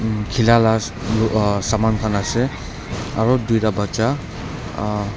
khila lah umm aa saman khan ase aru dui ta baccha aa--